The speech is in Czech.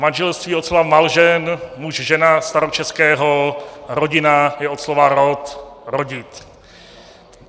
Manželství od slova malžen, muž-žena, staročeského, rodina je od slova rod, rodit.